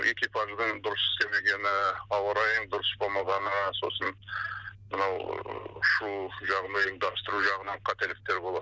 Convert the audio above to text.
экипаждың дұрыс істемегені ауа райының дұрыс болмағаны сосын мынау ұшу жағын ұйымдастыру жағынан қателіктер болады